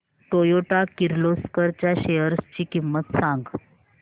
Toyota Kirloskar च्या shares ची किंमत सांग